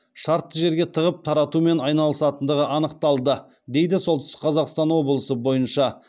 шартты жерге тығып таратумен айналысатындығы анықталды дейді солтүстік қазақстан облысы бойынша